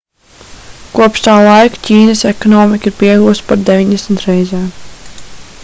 kopš tā laika ķīnas ekonomika ir pieaugusi par 90 reizēm